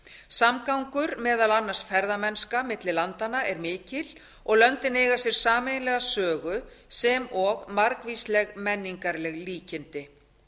samgangur meðal annars ferðamennska milli landanna er mikill og löndin eiga sér sameiginlega sögu sem og margvísleg menningarleg líkindi